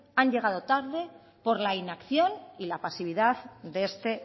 han llegado tarde por la inacción y la pasividad de este